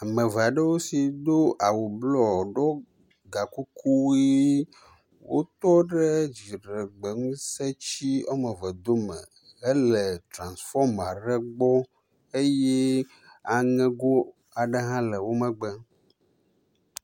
Ameveaɖewo si do awu blɔ ɖo gakuku ɣi wotɔɖe dziɖegbeŋuse tsi ɔmeve dome hele transfɔmaɖe gbɔ eyɛ aŋego aɖe hã le wómegbe